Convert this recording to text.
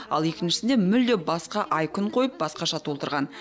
ал екіншісінде мүлде басқа ай күн қойып басқаша толтырған